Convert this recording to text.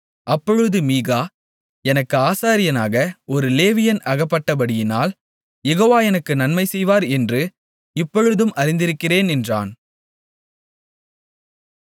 அப்பொழுது மீகா எனக்கு ஆசாரியனாக ஒரு லேவியன் அகப்பட்டபடியினால் யெகோவா எனக்கு நன்மை செய்வார் என்று இப்பொழுது அறிந்திருக்கிறேன் என்றான்